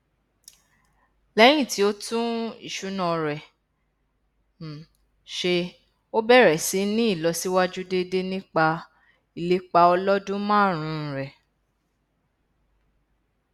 lẹyìn tí ó tún ìṣúná rẹ um ṣe ó bẹrẹ síí ní ìlọsíwájú déédé nípa ìlépa ọlọdún márùnún rẹ